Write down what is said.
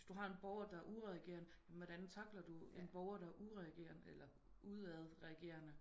Hvis du har en borger der er udadreagerende jamen hvordan tackler du en borger der er udadreagerende eller udadreagerende